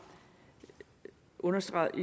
understreget